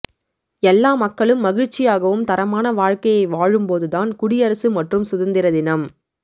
எல்லா மக்களும் மகிழ்ச்சியாகவும் தரமான வாழ்க்கையை வாழும் போது நான் குடியரசு மற்றும் சுதந்திர தினம்